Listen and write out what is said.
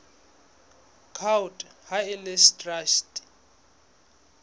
court ha e le traste